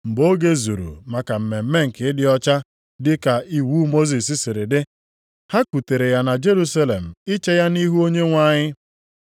Mgbe oge zuru maka mmemme nke ịdị ọcha dị ka iwu Mosis siri dị, ha kutere ya na Jerusalem iche ya nʼihu Onyenwe anyị